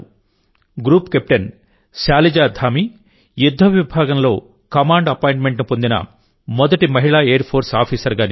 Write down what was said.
group captain Shaliza Dhami యుద్ధ విభాగంలో command appointment పొందిన మొదటి మహిళా ఎయిర్ ఫోర్స్ ఆఫీసర్గా నిలిచారు